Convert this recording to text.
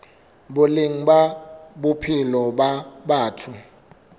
boleng ba bophelo ba batho